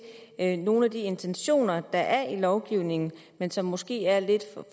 at nogle af de intentioner der er i lovgivningen men som måske er lidt